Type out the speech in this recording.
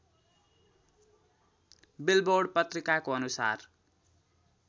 billboard पत्रिकाको अनुसार